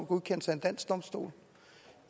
godkendes af en dansk domstol